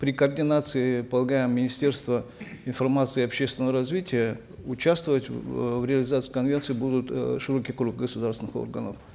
при координации полагаем министерства информации и общественного развития участвовать э в реализации конвенции будет э широкий круг государственных органов